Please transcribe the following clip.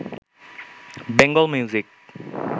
Bengal music